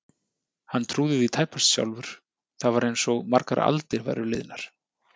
Honum trúði því tæpast sjálfur, það var einsog margar aldir væru liðnar.